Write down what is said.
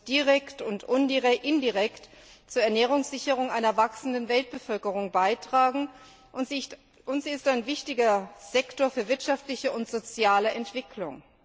Sie muss direkt und indirekt zur Ernährungssicherung einer wachsenden Weltbevölkerung beitragen, und sie ist ein wichtiger Sektor für wirtschaftliche und soziale Entwicklung.